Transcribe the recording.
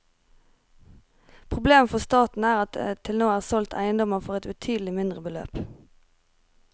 Problemet for staten er at det til nå er solgt eiendommer for et betydelig mindre beløp.